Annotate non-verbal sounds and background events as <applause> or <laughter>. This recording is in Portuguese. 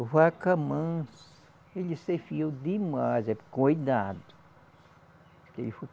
Vaca manso, ele se fiou demais, é cuidado. <unintelligible>